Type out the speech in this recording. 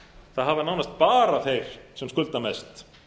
það hafa nánast bara þeir sem skulda mest